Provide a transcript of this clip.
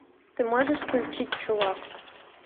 ты можешь включить чувак